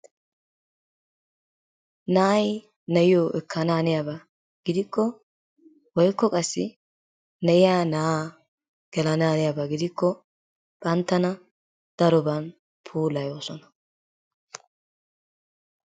Naay nayiyo ekanaaniyaba gidikko woykko qassi nayiya naa gelanaaniyaba gidikko banttana daroban puulayoosona.